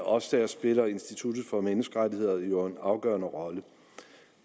og også dér spiller instituttet for menneskerettigheder jo en afgørende rolle